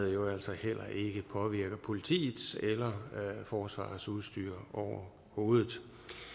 jo altså heller ikke påvirker politiets eller forsvarets udstyr overhovedet